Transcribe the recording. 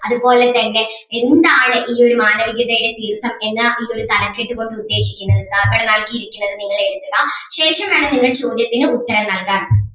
അതുപോലെ തന്നെ എന്താണ് ഈ ഒരു മാനവികതയുടെ തീർത്ഥം എന്ന ഈ ഒരു തലക്കെട്ട് കൊണ്ട് ഉദ്ദേശിക്കുന്നത് നൽകിയിരിക്കുന്നത് നിങ്ങൾ എഴുതുക ശേഷം വേണം നിങ്ങൾ ചോദ്യത്തിന് ഉത്തരം നൽകാൻ.